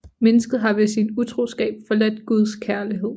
Mennesket har ved sin utroskab forladt Guds kærlighed